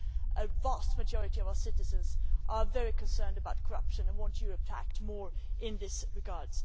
The vast majority of our citizens are very concerned about corruption and want Europe to act more in this regard.